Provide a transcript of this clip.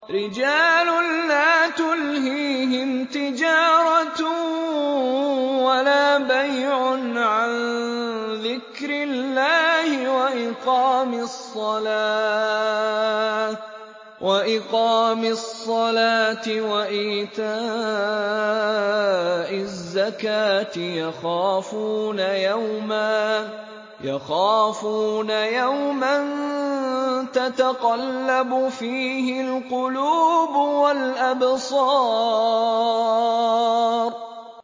رِجَالٌ لَّا تُلْهِيهِمْ تِجَارَةٌ وَلَا بَيْعٌ عَن ذِكْرِ اللَّهِ وَإِقَامِ الصَّلَاةِ وَإِيتَاءِ الزَّكَاةِ ۙ يَخَافُونَ يَوْمًا تَتَقَلَّبُ فِيهِ الْقُلُوبُ وَالْأَبْصَارُ